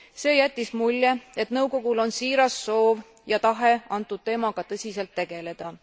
See jättis mulje, et nõukogul on siiras soov ja tahe antud teemaga tõsiselt tegeleda.